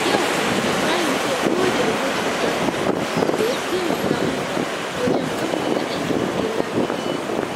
Yau, Ibrahim zai gode wa mijin ƴarsa da ya taimaka masa wajen kammala aikin gida da gona.